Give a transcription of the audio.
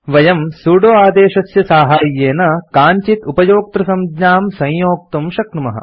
वयम् सुदो आदेशस्य साहाय्येन काञ्चित् उपयोक्तृसंज्ञां संयोक्तुं शक्नुमः